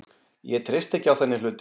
Ég treysti ekki á þannig hluti.